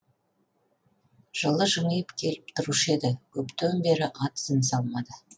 жылы жымиып келіп тұрушы еді көптен бері ат ізін салмады